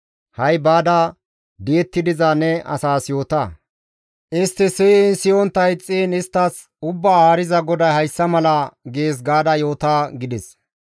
Ha7i baada di7etti diza ne asaas yoota. Istti siyiin siyontta ixxiin isttas, ‹Ubbaa Haariza GODAY hayssa mala gees› gaada yoota» gides.